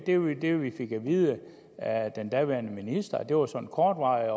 det vi vi fik at vide af den daværende minister og det var sådan kortvarigt